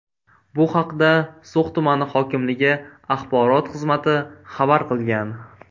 Bu haqda So‘x tumani hokimligi axborot xizmati xabar qilgan .